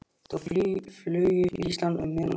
Þau flugu til Íslands um miðjan ágúst.